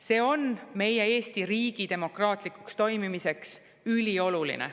See on meie Eesti riigi demokraatlikuks toimimiseks ülioluline.